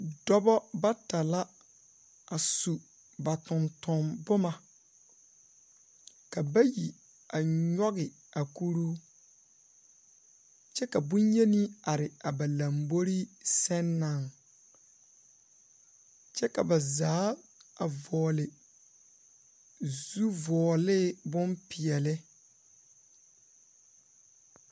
Dɔbɔ bata la a sub a totomboma ka bayi a nyɔge a kuruu kyɛ ka boŋyeni are a ba lambori seŋ naŋ kyɛ ka ba zaa a vɔgele zuvɔgelee bompeɛle.